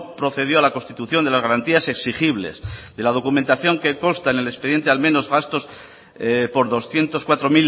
procedió a la constitución de las garantías exigibles de la documentación que consta en el expediente al menos gastos por doscientos cuatro